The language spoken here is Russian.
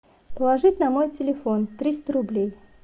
положить на мой телефон триста рублей